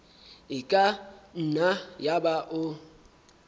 e ka nna yaba o